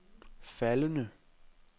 faldende